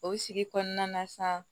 O sigi kɔnɔna na sa